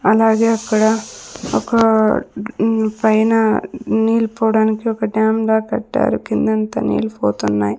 అలాగే అక్కడ ఒక మ్ పైన నీళ్లు పోవడానికి ఒక డ్యామ్ లాగా కట్టారు కిందంతా నీళ్లు పోతున్నాయి.